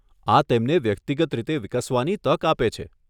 આ તેમને વ્યક્તિગત રીતે વિકસવાની તક આપે છે.